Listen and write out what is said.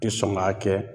Tɛ sɔn ka kɛ